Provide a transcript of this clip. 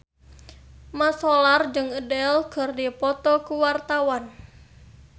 Mat Solar jeung Adele keur dipoto ku wartawan